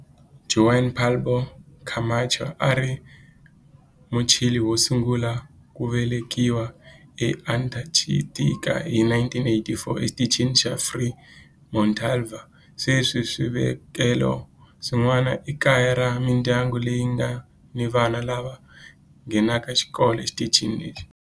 Juan Pablo Camacho a a ri Muchile wo sungula ku velekiwa eAntarctica hi 1984 eXitichini xa Frei Montalva. Sweswi swisekelo swin'wana i kaya ra mindyangu leyi nga ni vana lava nghenaka xikolo exitichini lexi.